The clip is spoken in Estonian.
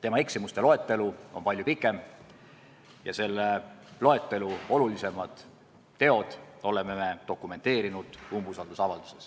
Tema eksimuste loetelu on palju pikem ja selle loetelu olulisimad teod oleme me dokumenteerinud umbusaldusavalduses.